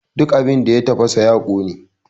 Duk abin da ya tafasa ya ƙone!